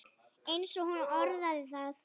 eins og hún orðaði það.